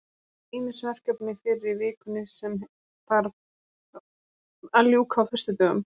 Það safnast ýmis verkefni fyrir í vikunni sem þarf að ljúka á föstudögum.